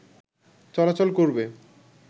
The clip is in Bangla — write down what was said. চলাচল করবে